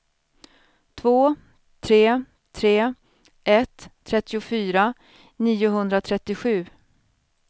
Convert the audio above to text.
två tre tre ett trettiofyra niohundratrettiosju